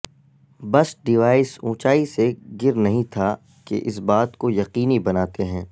بس ڈیوائس اونچائی سے گر نہیں تھا کہ اس بات کو یقینی بناتے ہیں